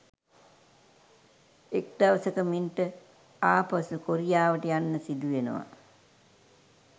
එක් දවසක මින්ට ආපසු කොරියාවට යන්න සිදුවෙනවා